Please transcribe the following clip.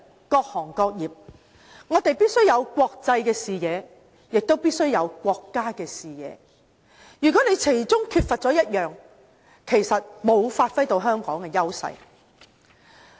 各行各業必須有國際視野，亦必須有國家的視野，如果缺乏其中一個，其實沒有發揮到香港的優勢。